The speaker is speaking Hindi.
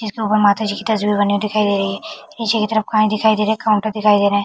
जिसके ऊपर माता जी की तस्वीर बनी हुई दिखाई दे रही नीचे की तरफ काय दिखाई दे रहे काउंटर दिखाई दे रहे।